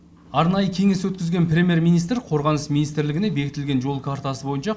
арнайы кеңес өткізген премьер министр қорғаныс министрлігіне бекітілген жол картасы бойынша